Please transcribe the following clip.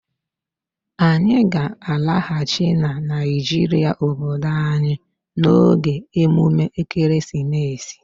Anyị ga-alaghachi na Naijiria obodo anyị n'oge emume ekeresimesi.